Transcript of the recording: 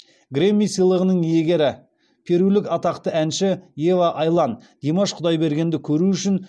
грэмми сыйлығының иегері перулік атақты әнші ева айлан димаш құдайбергенді көру үшін